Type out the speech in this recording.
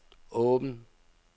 åbn